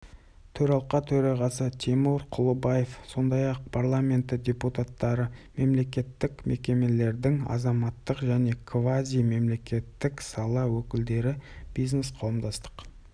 төралқа төрағасы тимур құлыбаев сондай-ақ парламенті депутаттары мемлекеттік мекемелердің азаматтық және квазимемлекеттік сала өкілдері бизнес-қауымдастық